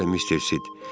Bəli, Mister Sid.